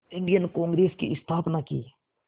Indian Congress की स्थापना की